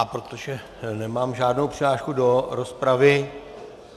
A protože nemám žádnou přihlášku do rozpravy...